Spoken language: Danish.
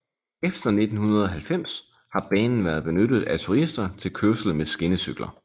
Efter 1990 har banen været benyttet af turister til kørsel med skinnecykler